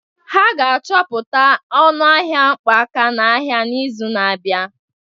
Ha ga-achọpụta ọnụ ahịa mkpọ aka n'ahịa n'izu na-abịa